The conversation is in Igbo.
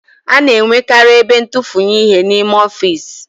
A na-enwekarị ebe ntufunye ihe n'ime ọfiisi